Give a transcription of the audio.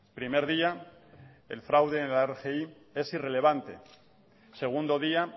primer día el fraude en la rgi es irrelevante segundo día